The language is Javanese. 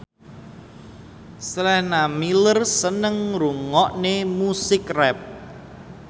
Sienna Miller seneng ngrungokne musik rap